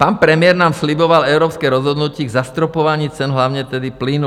Pan premiér nám sliboval evropské rozhodnutí k zastropování cen, hlavně tedy plynu.